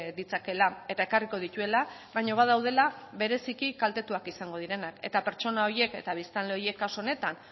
ditzakeela eta ekarriko dituela baina badaudela bereziki kaltetuak izango direnak eta pertsona horiek eta biztanle horiek kasu honetan